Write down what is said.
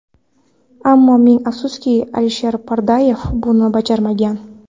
Ammo ming afsuski, Alisher Pardayev buni bajarmagan.